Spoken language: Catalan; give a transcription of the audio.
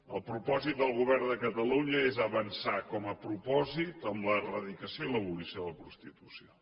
el propòsit del govern de catalunya és avançar com a propòsit en l’eradicació i l’abolició de la prostitució